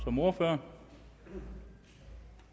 som ordfører